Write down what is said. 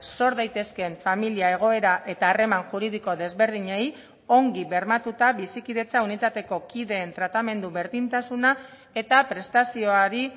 sor daitezkeen familia egoera eta harreman juridiko desberdinei ongi bermatuta bizikidetza unitateko kideen tratamendu berdintasuna eta prestazioari